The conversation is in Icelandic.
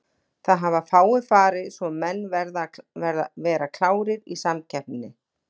Það hafa fáir farið svo menn verða að vera klárir í samkeppni.